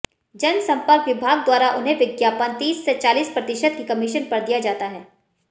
जनसम्पर्क विभाग द्वारा उन्हें विज्ञापन तीस से चालीस प्रतिशत की कमीशन पर दिया जाता है